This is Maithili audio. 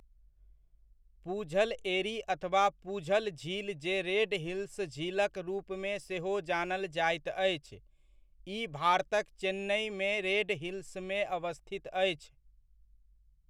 पुझल एरी अथवा पुझल झील जे रेड हिल्स झीलक रूपमे सेहो जानल जाइत अछि, ई भारतक चेन्नइमे रेड हिल्समे अवस्थित अछि।